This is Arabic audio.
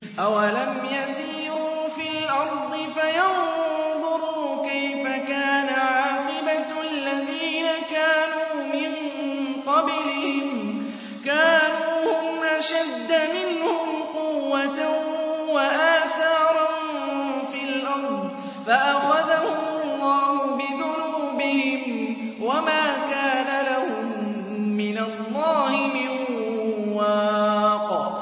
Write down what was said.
۞ أَوَلَمْ يَسِيرُوا فِي الْأَرْضِ فَيَنظُرُوا كَيْفَ كَانَ عَاقِبَةُ الَّذِينَ كَانُوا مِن قَبْلِهِمْ ۚ كَانُوا هُمْ أَشَدَّ مِنْهُمْ قُوَّةً وَآثَارًا فِي الْأَرْضِ فَأَخَذَهُمُ اللَّهُ بِذُنُوبِهِمْ وَمَا كَانَ لَهُم مِّنَ اللَّهِ مِن وَاقٍ